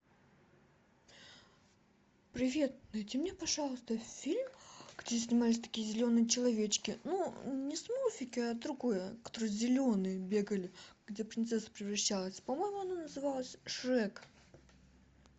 привет найди мне пожалуйста фильм где снимались такие зеленые человечки ну не смурфики а другое которые зеленые бегали где принцесса превращалась по моему оно называлось шрек